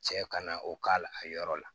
Cɛ ka na o k'a la a yɔrɔ la